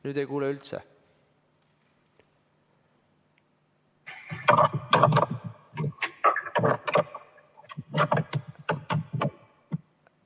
Nüüd ei kuule üldse.